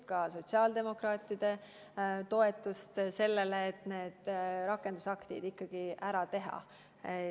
Me loodame ka sotsiaaldemokraatide toetust sellele, et need rakendusaktid ikkagi ära teha.